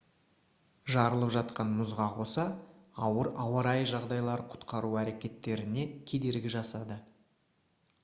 жарылып жатқан мұзға қоса ауыр ауа райы жағдайлары құтқару әрекеттеріне кедергі жасады